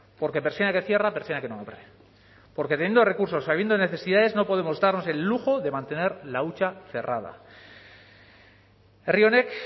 porque persiana que cierra persiana que no abre porque teniendo recursos habiendo necesidades no podemos darnos el lujo de mantener la hucha cerrada herri honek